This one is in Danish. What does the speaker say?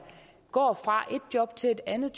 går fra ét job til et andet